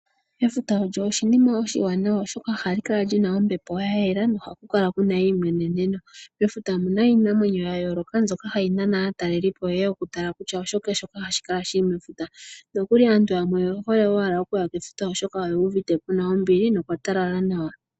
Efuta olyo oshinima oshiwanawa oshoka ohali kala lina ombepo ya yela ko okuna eimweneneno. Mefuta omuna iinamwenyo ya yooloka mbyoka hayi naana aataleli po yeye ya tale kutya oshike shoka shili mefuta, nokuli aantu yamwe oye hole okuya kefuta oshoka oye uvite kuna ombili nookwa talala nawa.